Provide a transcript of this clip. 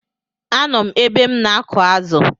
A nọ m ebe m na-akụ̀ azụ̀.